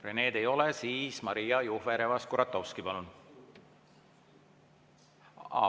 Rened ei ole, siis Maria Jufereva-Skuratovski, palun!